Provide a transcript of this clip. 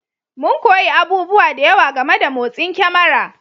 Mun koyi abubuwa da yawa game da motsin kyamara